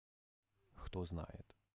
кто знает